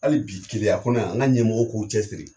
Hali bi Keleya kɔnɔ yan, an ka ɲɛmɔgɔw k'u cɛ siri